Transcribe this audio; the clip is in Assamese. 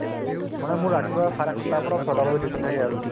মানে মোৰ ৰাতিপুৱা চাৰে সাতটাৰ পৰা ছয়টা বজালে duty থাকে আৰু